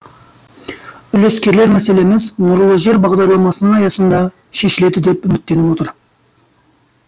үлескерлер мәселеміз нұрлы жер бағдарламасының аясында шешіледі деп үміттеніп отыр